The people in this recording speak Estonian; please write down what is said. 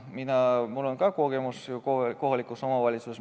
Mul on ka kogemus kohalikust omavalitsusest.